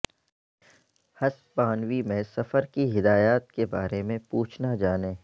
ہسپانوی میں سفر کی ہدایات کے بارے میں پوچھنا جانیں